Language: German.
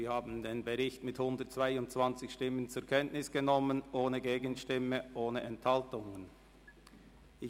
Sie haben den Bericht mit 122 Stimmen ohne Gegenstimme und ohne Enthaltung zur Kenntnis genommen.